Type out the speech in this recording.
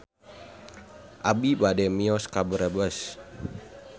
Abi bade mios ka Brebes